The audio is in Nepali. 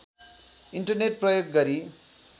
इन्टरनेट प्रयोग गरी